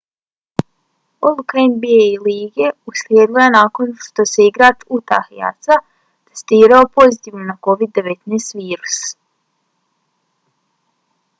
odluka nba lige uslijedila je nakon što se igrač utah jazza testirao pozitivno na covid-19 virus